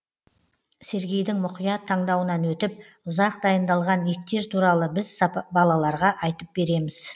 сергейдің мұқият таңдауынан өтіп ұзақ дайындалған иттер туралы біз балаларға айтып береміз